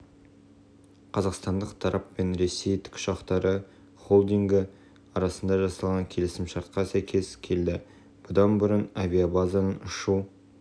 қазақстандық тарап пен ресей тікұшақтары холдингі арасында жасалған келісімшартқа сәйкес келді бұдан бұрын авиабазаның ұшу